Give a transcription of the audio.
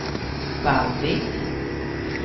Vallvik